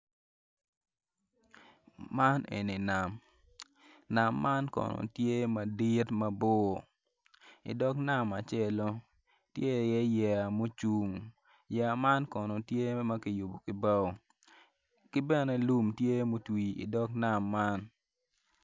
Man eni nam nam man kono tye madit mabor idog nam acel-lo tye iye yeya mucung yeya man kono tye ma kiyubo ki bao ki bene lum tye mutwi idog nam man.